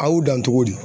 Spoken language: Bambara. A y'u dan cogo di